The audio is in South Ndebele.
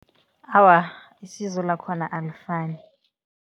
Awa, isizo lakhona alifani.